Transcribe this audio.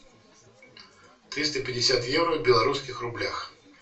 триста пятьдесят евро в белорусских рублях